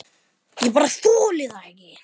Ég bara þoli það ekki.